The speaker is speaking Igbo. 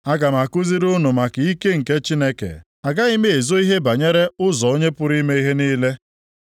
“Aga m akụziri unu maka ike nke Chineke; agaghị m ezo ihe banyere ụzọ Onye pụrụ ime ihe niile.